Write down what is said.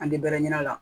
An tɛ bɛrɛ ɲina a la